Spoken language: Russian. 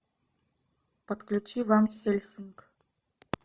подключи ван хельсинг